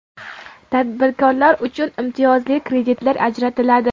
Tadbirkorlar uchun imtiyozli kreditlar ajratiladi.